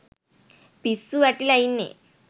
පිස්සු වැටිලා ඉන්නේ.